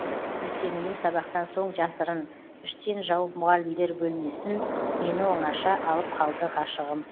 ертеңіне сабақтан соң жасырын іштен жауып мұғалімдер бөлмесін мені оңаша алып қалды ғашығым